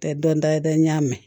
Tɛ dɔ da ye dɛ n y'a mɛn